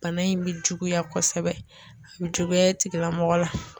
Bana in bɛ juguya kɔsɛbɛ, a bɛ juguya tigilamɔgɔ la.